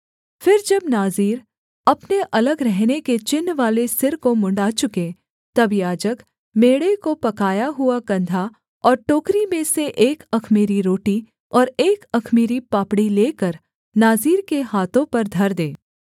फिर जब नाज़ीर अपने अलग रहने के चिन्हवाले सिर को मुँण्ड़ा चुके तब याजक मेढ़े का पकाया हुआ कंधा और टोकरी में से एक अख़मीरी रोटी और एक अख़मीरी पापड़ी लेकर नाज़ीर के हाथों पर धर दे